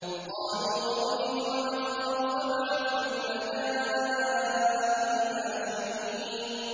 قَالُوا أَرْجِهْ وَأَخَاهُ وَابْعَثْ فِي الْمَدَائِنِ حَاشِرِينَ